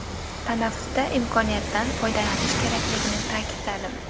Tanaffusda imkoniyatdan foydalanish kerakligini ta’kidladim.